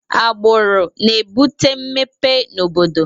agbụrụ na-ebute mmepe na obodo